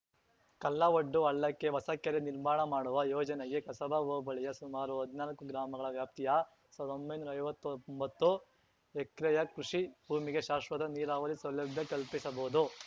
ಕಲ್ಲವಡ್ಡು ಹಳ್ಳಕ್ಕೆ ಹೊಸಕೆರೆ ನಿರ್ಮಾಣ ಮಾಡುವ ಯೋಜನೆಗೆ ಕಸಬಾ ಹೋಬಳಿಯ ಸುಮಾರು ಹದ್ನಾಲ್ಕು ಗ್ರಾಮಗಳ ವ್ಯಾಪ್ತಿಯ ಸಾವ್ರ್ದೊಂಬೈನೂರಾ ಐವತ್ತೊಂಬತ್ತು ಎಕ್ರೆಯ ಕೃಷಿ ಭೂಮಿಗೆ ಶಾಶ್ವತ ನೀರಾವರಿ ಸೌಲಭ್ಯ ಕಲ್ಪಿಸಬಹುದು